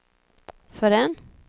förrän